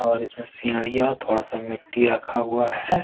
और इसमे सिडियाँ थोड़ा सा मिट्टी रखा हुआ है।